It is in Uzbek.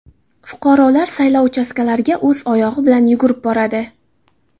Fuqarolar saylov uchastkalariga o‘z oyog‘i bilan yugurib boradi.